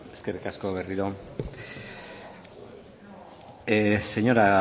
eskerrik asko berriro señora